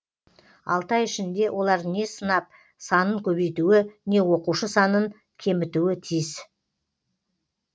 алты ай ішінде олар не сынап санын көбейтуі не оқушы санын кемітуі тиіс